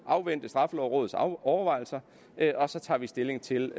at afvente straffelovrådets overvejelser og så tage stilling til